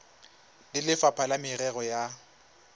le lefapha la merero ya